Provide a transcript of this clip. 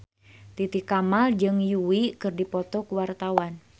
Titi Kamal jeung Yui keur dipoto ku wartawan